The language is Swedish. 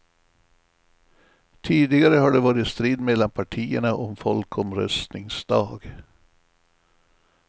Tidigare har det varit strid mellan partierna om folkomröstningsdag.